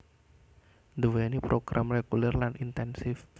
nduwèni program reguler lan intensif